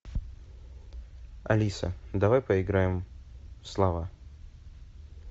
алиса давай поиграем в слова